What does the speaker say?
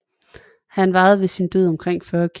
Han vejede ved sin død omkring 40 kg